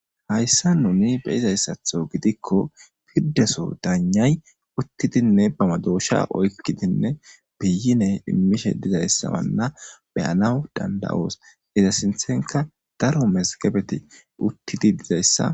hayssa nuni beyizayssatho gidikko piddeso daanyay uttidinne bamadoosha oykkidinne biyine immishe dizayssawanna beyanaw danda7oos iza sinthenka daro masgebeti uttidi dizayssa